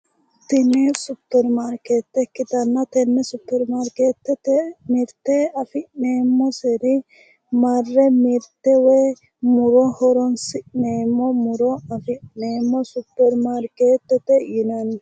Tene supirimaarkeete ikkitana tene supirimaarkeete affineemoseri. marre mirte woy muro horonsineemo muro affineemo supirimaarkeetete yinani